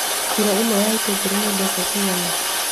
Kilo ĩmwe ya itũngũrũ nĩ mbeca cigana?